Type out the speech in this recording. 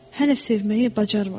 Hələ sevməyi bacarmırdım.